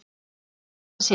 Í síðasta sinn.